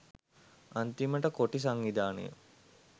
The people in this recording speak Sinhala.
අන්තිමට කොටි සංවිධානය